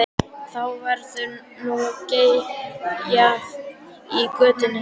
Þá verður nú geyjað í götunni.